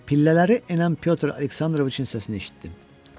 Pillələri enən Pyotr Aleksandroviçin səsini eşitdim.